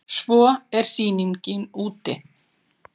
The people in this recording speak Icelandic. Svo er sýningin úti.